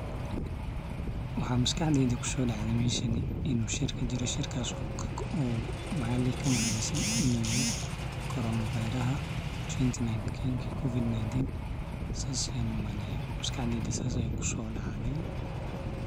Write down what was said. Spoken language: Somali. Waxa maskaxdeyda kusodacde inu shir kajire, shirkaso lagahadlayo corona viruska lawada kuun sagal iyo tawan sidas ayayn umaleya maskaxdeyda sidas aya kusodacde.